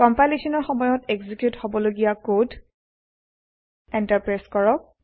কম্পাইলেচনৰ সময়ত এক্সিকিউত হবলগীয়া কড এন্টাৰ প্ৰেছ কৰক